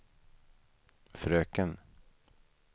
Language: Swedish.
fröken